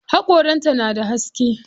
Haƙoran ta na da haske.